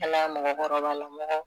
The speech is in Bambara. Ala mɔgɔkɔrɔbalamɔgɔ